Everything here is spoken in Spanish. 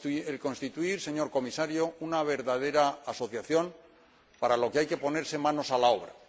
el constituir, señor Comisario, una verdadera asociación, para lo que hay que poner manos a la obra.